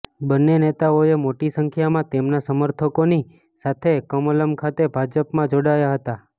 બંને નેતાઓએ મોટી સંખ્યામાં તેમના સમર્થકોની સાથે કમલમ ખાતે ભાજપમાં જોડાયા હતાં